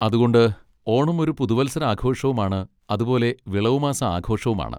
അതുകൊണ്ട് ഓണം ഒരു പുതുവത്സരാഘോഷവും ആണ് അതുപോലെ വിളവുമാസ ആഘോഷവും ആണ്.